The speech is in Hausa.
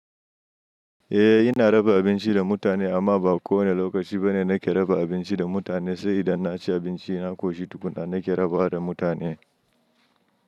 Eh ina raba abinci da mutane amma ba kowane lokaci bane nake raba abinci da mutane sai idan na ci abinci na koshi tukuna nake raba da mutane.